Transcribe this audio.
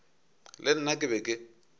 le nna ke be ke